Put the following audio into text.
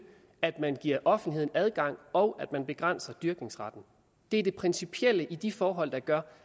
at man giver offentligheden adgang og at man begrænser dyrkningsretten det er det principielle i de forhold der gør